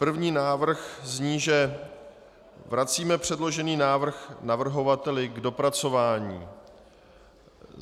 První návrh zní, že vracíme předložený návrh navrhovateli k dopracování.